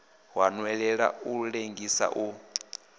wa nwelela u lengisa u